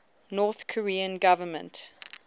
north korean government